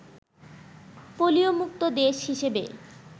polio মুক্ত দেশ হিসেবে